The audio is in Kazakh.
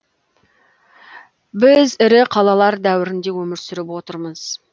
біз ірі қалалар дәуірінде өмір сүріп отырмыз